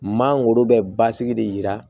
Maa wolo bɛ basigi de jira